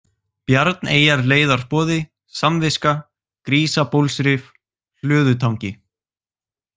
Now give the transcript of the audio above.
Bjarneyjarleiðarboði, Samviska, Grísabólsrif, Hlöðutangi